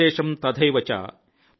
శేషం తథైవచ |